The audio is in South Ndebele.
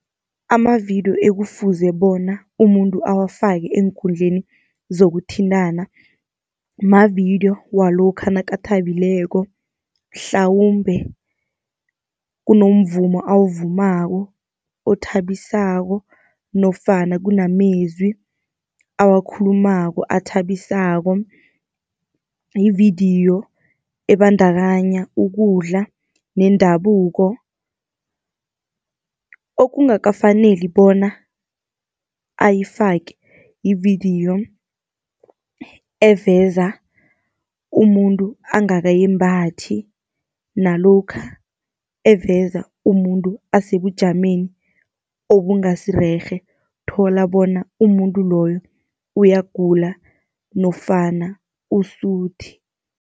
Ama-video ekufuze bona umuntu awafake eenkundleni zokuthintana, mavidiyo walokha nakathabileko, mhlawumbe kunomvumo awuvumako othabisako nofana kunamezwi awakhulumako athabisako. Yividiyo ebandakanya ukudla nendabuko. Okungakafaneli bona ayifake, yividiyo eveza umuntu angakayembathi, nalokha eveza umuntu asebujameni obungasi rerhe, thola bona umuntu loyo uyagula nofana usuthi.